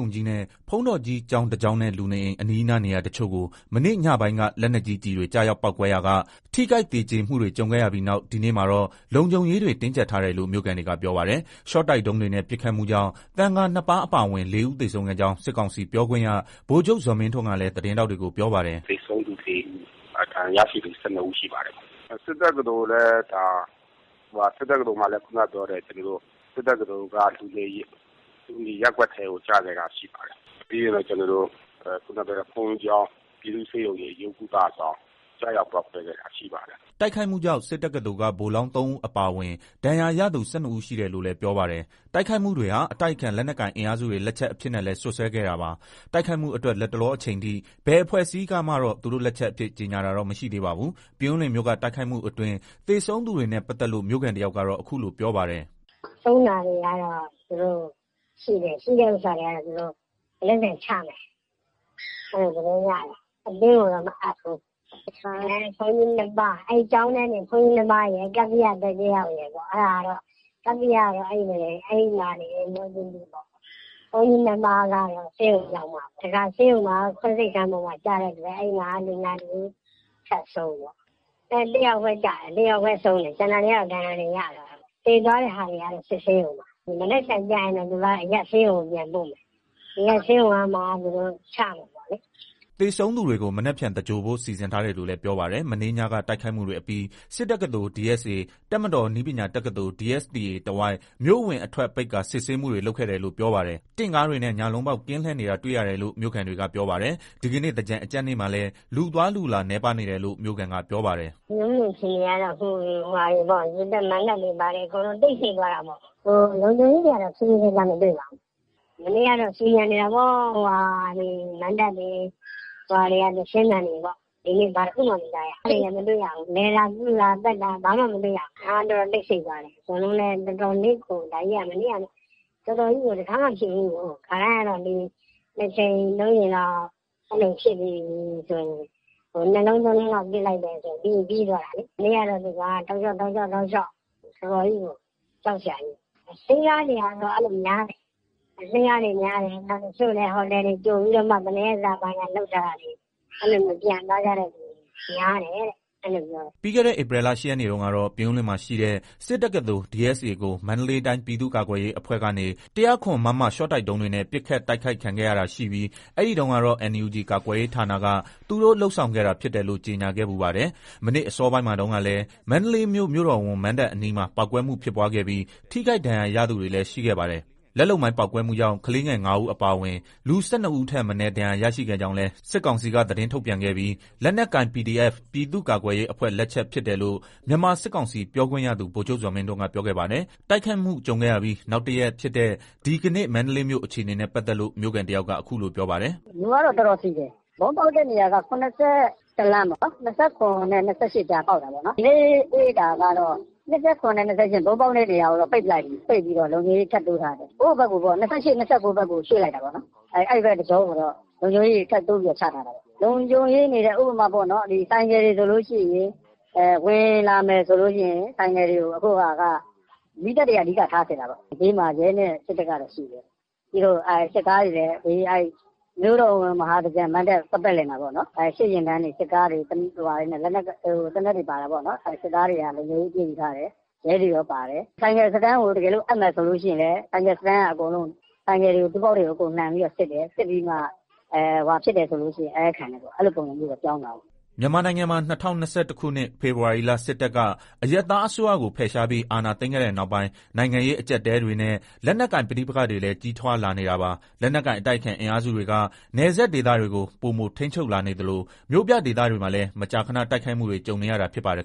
ုံကြီးနဲ့ ဘုန်းတော်ကြီး ကျောင်းတကျောင်းနဲ့ လူနေအိမ်အနီးနားနေရာတချို့ကို မနေ့ညပိုင်းက လက်နက်ကြီးကျည်တွေ ကျရောက်ပေါက်ကွဲရာက ထိခိုက်သေကျေမှုတွေ ကြုံခဲ့ရပြီးနောက် ဒီနေ့မှာတော့ လုံခြုံရေးတွေ တင်းကြပ်ထားတယ်လို့ မြို့ခံတွေက ပြောပါတယ်။ ရှော့တိုက်ဒုံးတွေနဲ့ ပစ်ခတ်မှုကြောင့် သံဃာ ၂ ပါး အပါအဝင် ၄ ဦး သေဆုံးခဲ့ကြောင်း စစ်ကောင်စီ ပြောခွင့်ရ ဗိုလ်ချုပ် ဇော်မင်းထွန်းကလည်း သတင်းထောက်တွေကို ပြောပါတယ်။ "သေဆုံးသူ ၄ ဦး၊ ဒဏ်ရာရသူ ၁၂ ဦးရှိပါတယ်။ စစ်တက္ကသိုလ်က လူနေရပ်ကွက်ထဲကို ကျခဲ့တာလည်းရှိပါတယ်။ ပြီးလို့ရှိရင် ဘုန်ကြီးကျောင်း၊ ပြည်သူ့ဆေးရုံကြီး အရိုးကုသဆောင် ကျရောက်ပေါက်ကွဲခဲ့တာရှိပါတယ်။ " တိုက်ခိုက်မှုကြောင့် စစ်တက္ကသိုလ်က ဗိုလ်လောင်း ၃ ဦး အပါအဝင် ဒဏ်ရာရသူ ၁၂ ဦး ရှိတယ်လို့လည်း ပြောပါတယ်။ တိုက်ခိုက်မှုတွေဟာ အတိုက်အခံ လက်နက်ကိုင်အင်အားစုတွေ လက်ချက်အဖြစ်နဲ့လည်း စွပ်စွဲခဲ့တာပါ။ တိုက်ခိုက်မှုအတွက် လတ်တလောအချိန်အထိ ဘယ်အဖွဲ့အစည်းကမှတော့ သူတို့လက်ချက်အဖြစ် ကြေညာတာတော့ မရှိသေးပါဘူး။ ပြင်ဦးလွင်မြို့က တိုက်ခိုက်မှုအတွင်း သေဆုံးသူတွေနဲ့ ပတ်သက်လို့ မြို့ခံတယောက်ကတော့ အခုလို ပြောပါတယ်။ "ဆုံးတာတွေရှိတယ် မနက်ဖန်ချမယ်။ အဲလိုသတင်းရတယ်။ အသင်းတွေကိုတော့မအပ်ဘူး။ ကျောင်းထဲတင် ဘုန်းကြီး ၂ပါး ကပ္ပိယ ရယ် ကပ္ပိယကတော့ပွဲချင်းပြီးတာ။ ဘုန်းကြီး ၂ပါးကတော့ဆေးရုံရောက်မှပါ။ နောက်ဆေးရုံခွဲစိတ်ခန်းကျတာ အဲမှာလူနာထပ်ဆုံးပေါ့။ အဲတယောက်ဘဲဆုံးတာကျန်တာဒဏ်ရာတွေရတာ။ သေတာတွေအကုန်စစ်ဆေးရုံမှာမနက်ဖန် အရပ်ဆေးရုံပြန်ပို့မယ်။ အရပ်ဆေးရုံကမှ ချမယ်။" သေဆုံးသူတွေကို မနက်ဖြန်သင်္ဂြိဟ်ဖို့ စီစဉ်ထားတယ်လို့လည်း ပြောပါတယ်။ မနေ့ညက တိုက်ခိုက်မှုတွေအပြီး စစ်တက္ကသိုလ်- DSA ၊ တပ်မတော်နည်းပညာတက္ကသိုလ်- DSTA တဝိုက် မြို့အဝင်အထွက် ပိတ်ကာစစ်ဆေးမှုတွေ လုပ်ခဲ့တယ်လို့ပြောပါတယ်။ တင့်ကားတွေနဲ့ ညလုံးပေါက် ကင်းလှည့်နေတာ တွေ့ရ တယ်လို့ မြို့ခံတွေကပြောပါတယ်။ ဒီကနေ့ သင်္ကြန်အကြတ်နေ့မှာလည်း လူသွားလူလာ နည်းပါးနေတယ်လို့ မြို့ခံက ပြောပါတယ်။ "ရေပက်မဏ္ဍပ်တွေဘာတွေအကုန်တိတ်ဆိတ်သွားတာပေါ့ လုံခြုံရေးတော့အရမ်းထူးထူးခြားခြားမတွေ့ပါဘူး။ မနေ့ကတော့ဆူညံနေတာပေါ့ မဏ္ဍပ်တွေသီချင်းသံတွေနဲ့ပေါ့ ဒီနေ့ဘာမှမကြားရ လည်တာပြုတာပတ်တာဘာမှမတွေ့ရ။ တော်တော်တိတ်သွားတာ။ ဒါ့ကြီးက တော်တော်ကို တခါမှမဖြစ်ဘူးကို ခါတိုင်းက ၂ကြိမ်၃ကြိမ် ပစ်ပြီးပြီးတာဘဲ။ မနေ့ကတောက်လျှောက်တောက်လျှောက်ကြောက်စရာကြီး။ အဆင်းကားတွေများတယ် တချို့ဟိုတယ်တွေဘယ်နှစ်ရက်စာဆိုပြီးယူထားပြီးတော့ပြန်တာများတယ်။" ပြီးခဲ့တဲ့ ဧပြီလ ၈ ရက်နေ့တုန်းကတော့ ပြင်ဦးလွင်မှာရှိတဲ့ စစ်တက္ကသိုလ် DSA ကို မန္တလေးတိုင်းပြည်သူ့ကာကွယ်ရေးအဖွဲ့ကနေ ၁၀၇ မမ ရှော့တိုက်ဒုံးတွေနဲ့ ပစ်ခတ်တိုက် ခိုက်ခံခဲ့ရတာရှိပြီး အဲဒီတုန်းကတော့ NUG ကာကွယ်ရေးဌာနက သူတို့လုပ်ဆောင်ခဲ့တာဖြစ်တယ်လို့ ကြေညာခဲ့ဖူးပါတယ်။ မနေ့အစောပိုင်းမှာ တုန်းကလည်း မန္တလေးမြို့ မြို့တော်ဝန် မဏ္ဍပ်အနီးမှာ ပေါက်ကွဲမှုဖြစ်ပွားခဲ့ပြီး ထိခိုက်ဒဏ်ရာရသူတွေလည်း ရှိခဲ့ပါတယ်။ လက်လုပ်မိုင်း ပေါက်ကွဲမှုကြောင့် ကလေးငယ် ၅ ဦးအပါအဝင်လူ ၁၂ ဦး ထပ်မနည်းဒဏ်ရာရခဲ့ကြောင်းလည်း စစ်ကောင်စီက သတင်းထုတ်ပြန်ခဲ့ပြီး လက်နက်ကိုင် PDF ပြည်သူ့ကာကွယ်ရေးအဖွဲ့လက်ချက်ဖြစ်တယ်လို့ မြန်မာစစ်ကောင်စီပြောခွင့်ရသူ ဗိုလ်ချုပ်ဇော်မင်းထွန်းက ပြောခဲ့ပါတယ်။ တိုက်ခိုက်မှု ကြုံခဲ့ရပြီး နောက်တရက်ဖြစ်တဲ့ ဒီကနေ့ မန္တလေးမြို့ အခြေအနေနဲ့ ပတ်သက်လို့ မြို့ခံတယောက်က အခုလိုပြောပါတယ်။ "ခုကတော့လူကတော့တော်တော်စည်တယ်။ ဗုံးပေါက်တာကတော့ ၇၁ လမ်းပေါ့ ၂၇ နဲ့ ၂၈ ကြားပေါက်တာပေါ့။ ဒီနေ့တွေ့တာတော့ ၂၇နဲ့ ၂၈ကြား တော့ပိတ်လိုက်ပြီ။ ပိတ်ပြီးလုံခြုံရေးထပ်တိုးထားတယ်။ ၂၈နဲ့ ၂၉ဘက်ကိုရွှေ့လိုက်တာပေါ့နော်။ အဲဘက်တကြောကိုလည်းလုံခြုံရေးထပ်တိုး ချ ထားတယ်။ လုံခြုံရေးက ဥပမာဆိုင်ကယ်ဆိုရင် ဝင်လာမယ်ဆိုမီးသတ်တွေကအဓိကထားစစ်တယ်။ ဘေးမှာရဲနဲ့စစ်တပ်တော့ရှိတယ်။ စစ်ကား တွေလည်းမြို့တော်ဝန်မဟာသင်္ကြန်မဏ္ဍပ်ပတ်ပတ်လည်မှာပေါ့ စစ်ယာဉ်တန်းတွေလက်နက်အပြည့်အစုံနဲ့လုံခြုံရေးယူထားတယ်။ ရဲတွေကော ပေါ့ ဆိုင်ကယ်အပ်မယ်ဆိုရင်လည်း တူးဘောက်တွေအကုန်စစ်ပြီးမှအအပ်ခံတယ်။အဲလိုတော့ဖြစ်သွားတယ်။" မြန်မာနိုင်ငံမှာ ၂၀၂၁ ခုနှစ် ဖေဖော်ဝါရီလ စစ်တပ်က အရပ်သားအစိုးရကို ဖယ်ရှားပြီး အာဏာသိမ်းခဲ့တဲ့နောက်ပိုင်း နိုင်ငံရေး အကျပ်အတည်းတွေနဲ့ လက်နက်ကိုင် ပဋိပက္ခတွေလည်း ကြီးထွားလာနေတာပါ။ လက်နက်ကိုင် အတိုက်အခံ အင်အားစုတွေက နယ်စပ်ဒေသတွေကို ပိုမိုထိန်းချုပ်လာနေသလို၊ မြို့ပြဒေသတွေမှာလည်း မကြာခဏ တိုက်ခိုက်မှုတွေ ကြုံနေရတာ ဖြစ်ပါတယ်